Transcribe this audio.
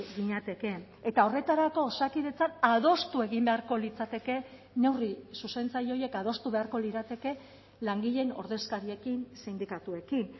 ginateke eta horretarako osakidetzan adostu egin beharko litzateke neurri zuzentzaile horiek adostu beharko lirateke langileen ordezkariekin sindikatuekin